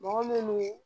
Mɔgɔ minnu